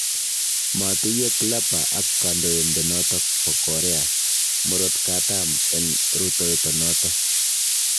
Matuiyo Clapper ak kandoindenoto bo Korea Murotkatam eng rutoitonoto